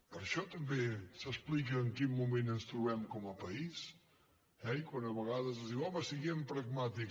per això també s’explica en quin moment ens trobem com a país eh i quan a vegades es diu home siguem pragmàtics